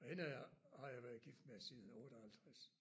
Og hende har jeg været gift med siden 58